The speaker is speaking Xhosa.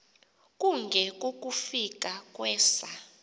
kunge kukufika kwesa